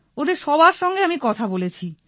ওদের সবার সঙ্গেই আমি কথা বলেছি